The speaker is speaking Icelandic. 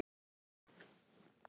Einar Guðnason Sætasti sigurinn?